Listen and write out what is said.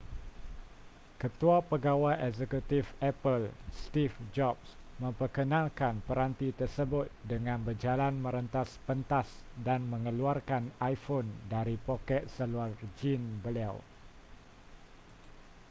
ketua pegawai eksekutif apple steve jobs memperkenalkan peranti tersebut dengan berjalan merentas pentas dan mengeluarkan iphone dari poket seluar jeans beliau